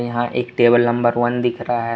यहां एक table number one दिख रहा है।